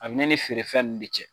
A bɛ ne ni feerefɛn ninnu de cɛ.